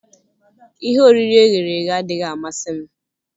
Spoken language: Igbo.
Ihe oriri e ghere eghe adịghị amasị m.